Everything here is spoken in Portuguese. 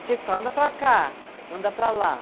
E tinha que falar, anda para cá, anda para lá.